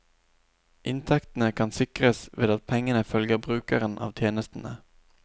Inntektene kan sikres ved at pengene følger brukeren av tjenestene.